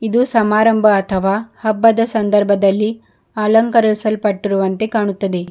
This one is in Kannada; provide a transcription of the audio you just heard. ಇದು ಸಮಾರಂಭ ಅಥವಾ ಹಬ್ಬದ ಸಂದರ್ಭದಲ್ಲಿ ಅಲಂಕರಿಸಲ್ಪಟ್ಟಿರುವಂತೆ ಕಾಣುತ್ತದೆ.